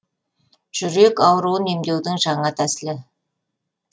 жүрек ауруын емдеудің жаңа тәсілі